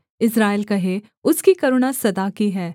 इस्राएल कहे उसकी करुणा सदा की है